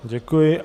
Děkuji.